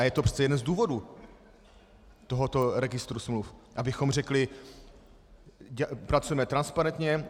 A je to přece jeden z důvodů tohoto registru smluv, abychom řekli - pracujeme transparentně.